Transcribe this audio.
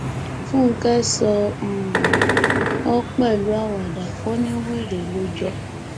fúnkẹ sọ um ọ pẹlú àwàdà ò ní wẹrẹ ló jọ